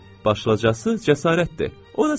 Başlıcası cəsarətdir.